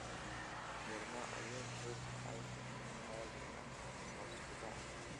Goorma ayuu kaydka iphone-ku caadi ahaan hoos u dhacaa